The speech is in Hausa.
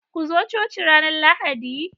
Ku zo coci ranar Lahadi